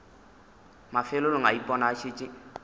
mafelelong a ipona a šetše